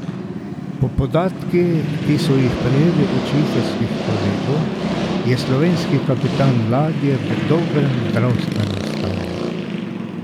Po podatkih, ki so jih prejeli od švicarskih kolegov, je slovenski kapitan ladje v dobrem zdravstvenem stanju.